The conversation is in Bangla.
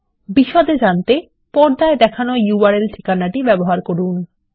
বিশদে জানতে পর্দায় দেখানো url এ ঠিকানা ব্যবহার করুন